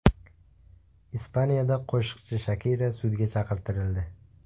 Ispaniyada qo‘shiqchi Shakira sudga chaqirtirildi.